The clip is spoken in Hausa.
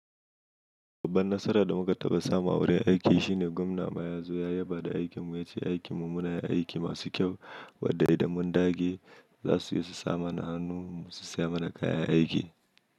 Babban nasarar da muka taɓa samu a wurin aiki shine gwamna maya zo ya yaba da aikinmu, ya ce aikinmu muna yin aiki masu kyau, wadda idan mun dage za su iya su samana hannunmu su saya mana kayan aiki.